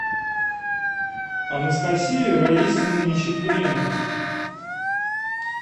анастасию раисовну нечепуренко